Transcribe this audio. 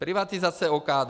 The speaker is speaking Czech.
Privatizace OKD.